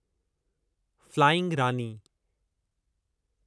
flying Rani